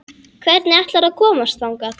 Hvernig ætlarðu að komast þangað?